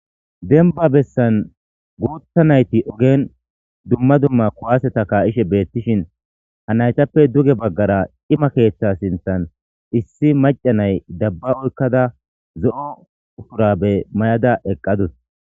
Denba bessan guutta nayti ogen dumma dumma kuwaseta ka ishe beettishin ha naytappe duge baggara ima keeththa sinthan issi maca nay dabba oykkada zo'o ufurabe may'ada eqqadus